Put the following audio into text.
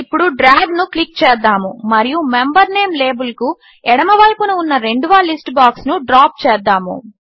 ఇప్పుడు డ్రాగ్ను క్లిక్ చేద్దాము మరియు మెంబర్ నేమ్ లేబిల్కు ఎడమవైపున ఉన్న రెండవ లిస్ట్ బాక్స్ను డ్రాప్ చేద్దాము